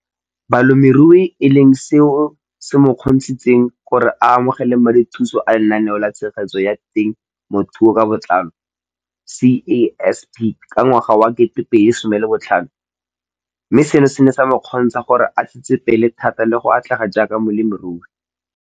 Balemirui e leng seo se mo kgontshitseng gore a amogele madithuso a Lenaane la Tshegetso ya Te mothuo ka Botlalo CASP ka ngwaga wa 2015, mme seno se ne sa mo kgontsha gore a tsetsepele thata le go atlega jaaka molemirui.